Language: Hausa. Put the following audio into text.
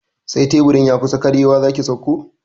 Sai teburin ya kusa karyewa zaki sauko